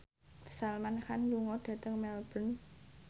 Salman Khan lunga dhateng Melbourne